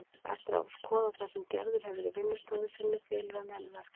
Eftir að hafa skoðað það sem Gerður hefur í vinnustofu sinni felur hann henni verkefnið.